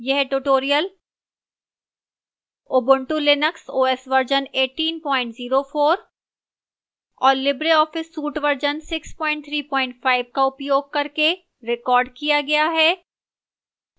यह tutorial ubuntu linux os version 1804 और libreoffice suite version 635 का उपयोग करके recorded किया गया है